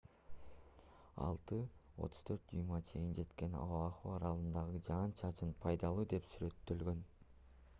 6,34 дюймга чейин жеткен оаху аралындагы жаан-чачын пайдалуу деп сүрөттөлгөн